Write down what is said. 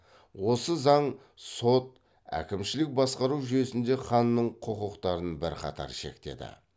осы заң сот әкімшілік басқару жүйесінде ханның құқықтарын бірқатар шектеді